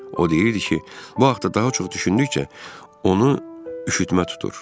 O deyirdi ki, bu haqda daha çox düşündükcə onu üşütmə tutur.